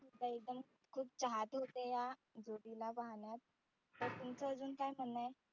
अं एकदम खुप चाहते होते या जोडी ला पाहण्यात तर तुमचं अजून काय म्हणणं आहे?